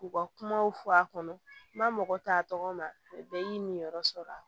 K'u ka kumaw fɔ a kɔnɔ ma mɔgɔ ta tɔgɔ ma bɛɛ y'i minyɔrɔ sɔrɔ a la